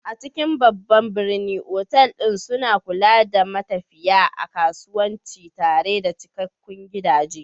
A cikin babban birni, otal ɗin suna kula da matafiya na kasuwanci tare da cikakkun gidaje.